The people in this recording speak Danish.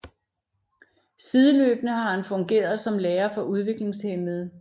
Sideløbende har han fungeret som lærer for udviklingshæmmede